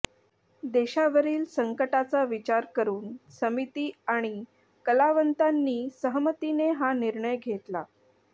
देशावरील संकटाचा विचार करून समिती आणि कलावंतांनी सहमतीने हा निर्णय घेतला